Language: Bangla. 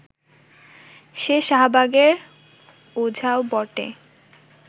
সে শাহবাগের ওঝাও বটে